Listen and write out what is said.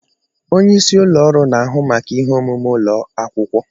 Onye isi ụlọ ọrụ na-ahụ maka ihe omume ụlọ akwụkwọ.